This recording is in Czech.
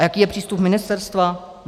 A jaký je přístup ministerstva?